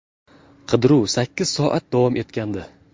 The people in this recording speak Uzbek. Qidiruv sakkiz soat davom etgandi.